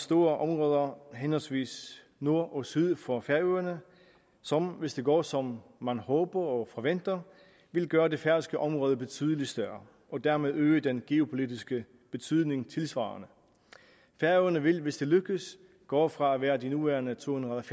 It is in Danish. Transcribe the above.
store områder henholdsvis nord og syd for færøerne som hvis det går som man håber og forventer vil gøre det færøske område betydelig større og dermed øge den geopolitiske betydning tilsvarende færøerne vil hvis det lykkes gå fra at være de nuværende tohundrede og